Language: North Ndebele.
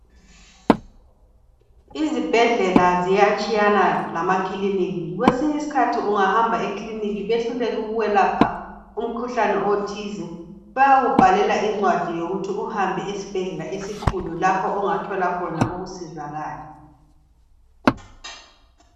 Izibhedlela ziyatshiyana lamakiliniki kwesinyi skhathi ungahamba ekiliniki behluleke ukukwelapha umkhuhlane othize bayakubhalela incwadi yokuthi uhambe esibhedlela esikhulu lapho ongathola khona ukusizakala